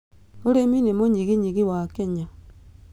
ũrĩmi nĩ mũnyiginyigi wa Kenya.